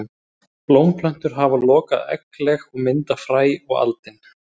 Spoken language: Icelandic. Blómplöntur hafa lokað eggleg og mynda fræ og aldin.